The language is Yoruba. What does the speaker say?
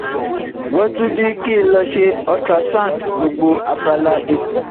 Wọ́n tún ní kí n lọ ṣe ultrasound gbogbo abala ikùn